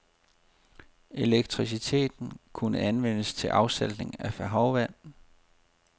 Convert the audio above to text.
Elektriciteten kunne anvendes til afsaltning af havvand.